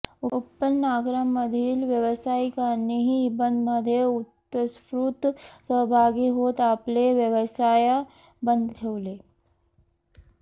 उपनगरांमधील व्यावसायिकांनीही बंदमध्ये उत्स्फूर्त सहभागी होत आपले व्यवसाय बंद ठेवले